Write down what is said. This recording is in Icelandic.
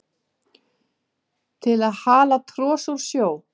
til að hala tros úr sjó